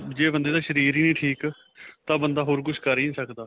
ਜੇ ਬੰਦੇ ਦਾ ਸ਼ਰੀਰ ਹੀ ਨਹੀਂ ਠੀਕ ਤਾਂ ਬੰਦਾ ਹੋਰ ਕੁੱਛ ਕਰ ਨਹੀਂ ਸਕਦਾ